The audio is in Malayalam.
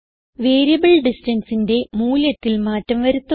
വേരിയബിൾ distanceന്റെ മൂല്യത്തിൽ മാറ്റം വരുത്തുക